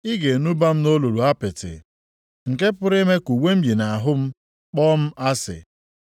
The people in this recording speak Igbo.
ị ga-enuba m nʼolulu apịtị nke pụrụ ime ka uwe m yi nʼahụ m kpọọ m asị.